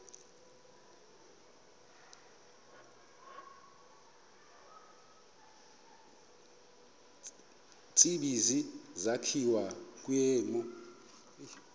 tsibizi sakhiwa kwimo